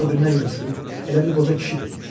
Gör bir nə günə düşüb, elə bil qoca kişidir.